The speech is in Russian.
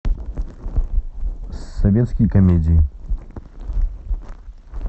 советские комедии